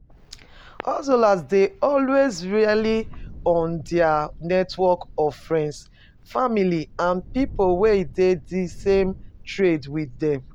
Hustlers dey always rely on their network of friends, family and people wey dey di same trade with them